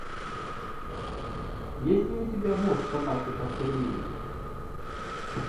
есть ли у тебя муж собаки баскервилей